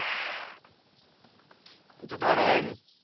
येतो थोड्या वेळानी.